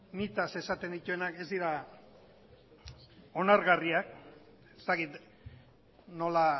nitaz esaten dituenak ez dira onargarriak ez dakit nola